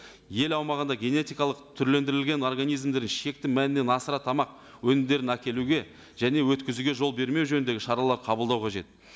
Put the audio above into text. ел аумағында генетикалық түрлендірілген организмдерін шекті мәнінен асыра тамақ өнімдерін әкелуге және өткізуге жол бермеу жөніндегі шаралар қабылдау қажет